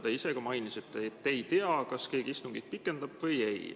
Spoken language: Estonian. Te ise ka mainisite, et te ei tea, kas keegi istungit pikendab või ei.